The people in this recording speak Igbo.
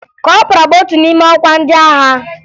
Kọpọraa bụ otu n'ime ọkwa ndị agha